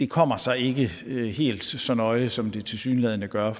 kommer sig ikke helt så nøje som det tilsyneladende gør